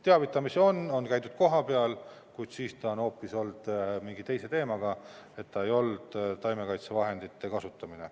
Teavitamisi on, on käidud kohapeal, kuid siis on see olnud seotud hoopis mingi teise teemaga, st see ei olnud taimekaitsevahendite kasutamine.